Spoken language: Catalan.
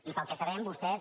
i pel que sabem vostès